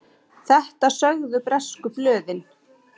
Þetta sögðu bresku blöðin.